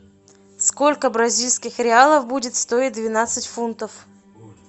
сколько бразильских реалов будет стоить двенадцать фунтов